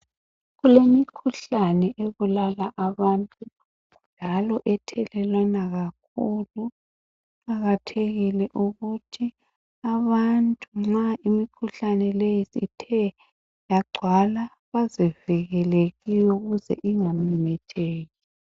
Kulemikhuhlane ebulala abantu njalo ethelelwana kakhulu. Kuqakathekile ukuthi abantu nxa imikhuhlane le ithe yagcwala bazivikele kiyo ukuze ingamemetheki.